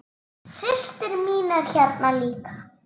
Systir mín er hérna líka.